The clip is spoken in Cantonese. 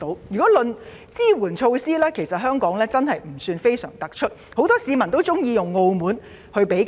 就抗疫措施來說，香港的確不算非常突出。很多市民喜歡拿香港與澳門比較。